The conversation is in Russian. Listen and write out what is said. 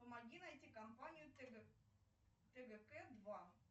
помоги найти компанию тгк два